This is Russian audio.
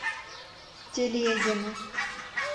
телегину